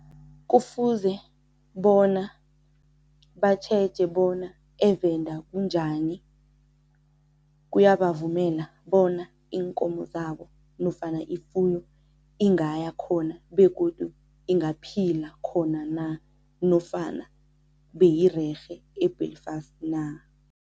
Kufuze bona batjheje bona eVenda kunjani, kuyabavumela bona iinkomo zabo nofana ifuyo ingaya khona begodu ingaphila khona na nofana beyirerhe e-Belfast na.